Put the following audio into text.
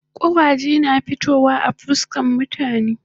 Kawali na fitowa a fuskan mutane